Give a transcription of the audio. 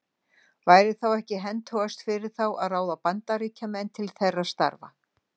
Væri þá ekki hentugast fyrir þá að ráða Bandaríkjamenn til þeirra starfa?